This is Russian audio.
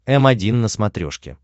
м один на смотрешке